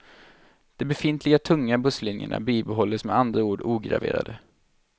De befintliga tunga busslinjerna bibehålles med andra ord ograverade.